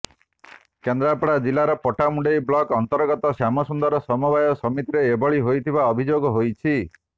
କେନ୍ଦ୍ରାପଡା ଜିଲ୍ଲାର ପଟ୍ଟାମୁଣ୍ଡାଇ ବ୍ଲକ ଅନ୍ତର୍ଗତ ଶ୍ୟାମସୁନ୍ଦର ସମବାୟ ସମିତିରେ ଏଭଳି ହୋଇଥିବା ଅଭିଯୋଗ ହୋଇଛି